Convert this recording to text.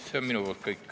See on minu poolt kõik.